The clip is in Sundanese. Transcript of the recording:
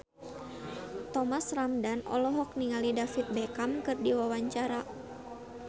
Thomas Ramdhan olohok ningali David Beckham keur diwawancara